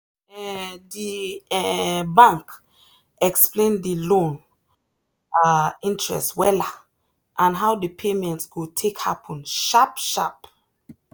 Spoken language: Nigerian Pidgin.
um the um bank explain the loan um interest wella and how the payment go take happen sharp sharp.